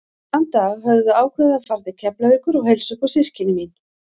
Þann dag höfðum við ákveðið að fara til Keflavíkur og heilsa upp á systkini mín.